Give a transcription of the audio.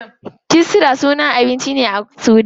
Kisra sunan abinci ne a sudan.